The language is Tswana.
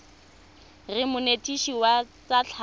reng monetetshi wa tsa tlhago